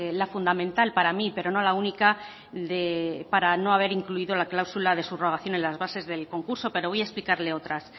la fundamental para mí pero no la única de para no haber incluido la cláusula de subrogación en las bases del concurso pero voy a explicarle otras